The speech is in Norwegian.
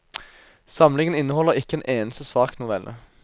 Samlingen inneholder ikke en eneste svak novelle.